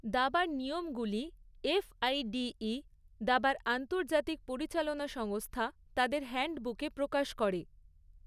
দাবার নিয়মগুলি এফ.আই.ডি.ই, দাবার আন্তর্জাতিক পরিচালনা সংস্থা, তাদের হ্যান্ডবুকে প্রকাশ করে।